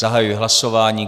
Zahajuji hlasování.